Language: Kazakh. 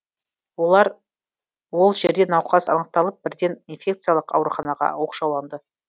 ол жерде науқас анықталып бірден инфекиялық ауруханаға оқшауланды